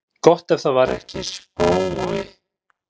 Gott ef það var ekki spói.